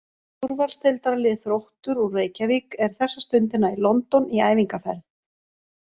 Úrvalsdeildarliðið Þróttur úr Reykjavík er þessa stundina í London í æfingaferð.